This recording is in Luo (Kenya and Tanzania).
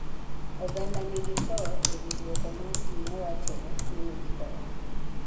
Oganda ni gi to ewi duoko mar jima wachore ni nigi korona.